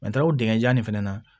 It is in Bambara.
o dingɛnjan in fɛnɛ na